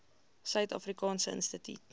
suid afrikaanse instituut